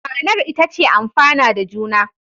Ma'anar ita ce amfana da juna.